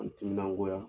N timinangoya